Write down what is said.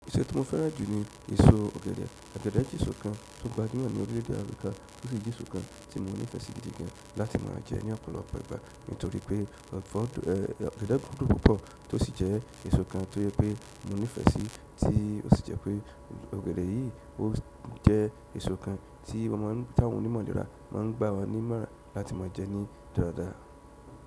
Èso ti mo fẹ́ràn jù ní èso ọ̀gẹ̀dẹ̀. Ọ̀gẹ̀dẹ̀ jẹ́ èso kan tó gbajúmọ̀ ní orílẹ̀èdè Áfíríkà ó sì jẹ́ èso kan tí wọ́n nífẹ̀ẹ́ sí gidi gan láti máa jẹ ní ọ̀pọ̀lọpọ̀ ìgbà nítorí pé ọ̀gẹ̀dẹ̀ gùn dùú púpọ̀ tó sì jẹ́ èso kan tó yẹ pé monífẹ́ẹ́sí tí ó sì jẹ́ pé ọ̀gẹ̀dẹ̀ yìí ó jẹ́ èso kan tí ọmọ ẹni tó wù ní mọ̀dàra má a ń gbà wọ́n nímọ̀rá láti ma jẹ ní dáradára.